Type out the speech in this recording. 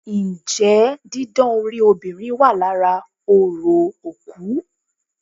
Njẹ́ didán orí obìnrin wà lára orò òkú?